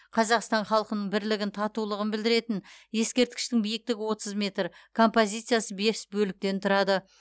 қазақстан халқының бірлігін татулығын білдіретін ескерткіштің биіктігі отыз метр композициясы бес бөліктен тұрады